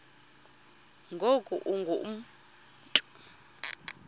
ngoku ungu mntu